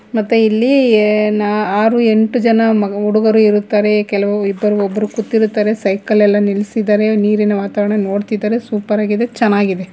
ಮತ್ತೆ ಇಲ್ಲಿ ನಾ ಆರು ಎಂಟು ಜನ ಮ ಹುಡುಗರು ಇರುತ್ತಾರೆ ಕೆಲವು ಇಬ್ಬರು ಒಬ್ಬರು ಕುಂತಿರುತ್ತಾರೆ ಸೈಕಲ್ ಎಲ್ಲಾ ನಿಲ್ಲಿಸಿದರೆ ನಿರಿನ ವಾತಾವರಣ ನೋಡ್ತಿದಾರೆ ಸೂಪರ್ ಆಗಿದೆ ಚೆನ್ನಾಗಿದೆ.